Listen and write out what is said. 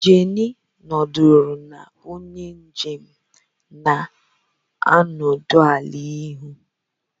Jenny nọdụrụ na onye njem na-anọdụ ala n'ihu